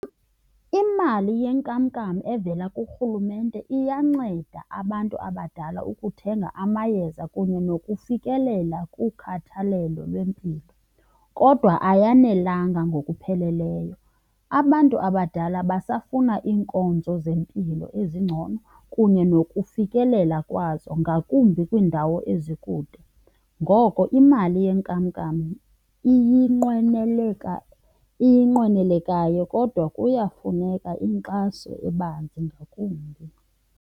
Imali yenkamnkam evela kurhulumente iyanceda abantu abadala ukuthenga amayeza kunye nokufikelela kukhathalelo lwempilo kodwa ayanelanga ngokupheleleyo. Abantu abadala basafuna iinkonzo zempilo ezingcono kunye nokufikelela kwazo, ngakumbi kwiindawo ezikude. Ngoko imali yenkamnkam iyinqwenelekayo kodwa kuyafuneka inkxaso ebanzi ngakumbi.